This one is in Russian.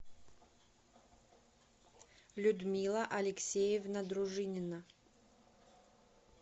людмила алексеевна дружинина